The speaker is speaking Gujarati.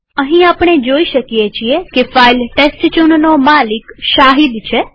અહીં આપણે જોઈ શકીએ છીએ કે ફાઈલ testchownનો માલિક શાહિદ છે